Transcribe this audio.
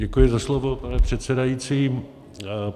Děkuji za slovo, pane předsedající.